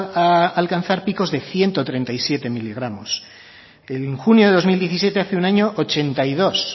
a alcanzar picos de ciento treinta y siete miligramos en junio de dos mil diecisiete hace un año ochenta y dos